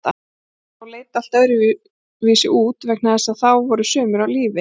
En þá leit allt öðruvísi út vegna þess að þá voru sumir á lífi.